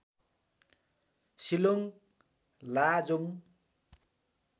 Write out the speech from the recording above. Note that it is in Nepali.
सिलोङ लाजोङ